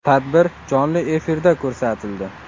Tadbir jonli efirda ko‘rsatildi.